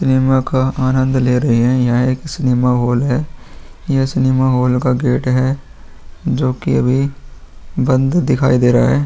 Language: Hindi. सिनेमा का आनंद ले रही हैं। यह एक सिनेमा हॉल है। यह सिनेमा हॉल का गेट है जो कि अभी बंद दिखाई दे रहा है।